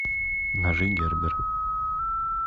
ножи гербер